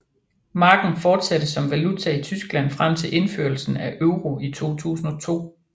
Marken fortsatte som valuta i Tyskland frem til indførelsen af euro i 2002